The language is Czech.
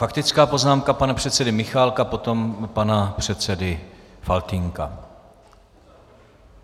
Faktická poznámka pana předsedy Michálka, potom pana předsedy Faltýnka.